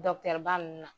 ba ninnu na